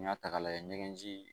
N'i y'a ta k'a lajɛ ɲɛnji